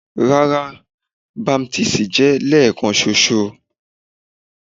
Rara, baptisi jẹ lẹẹkanṣoṣo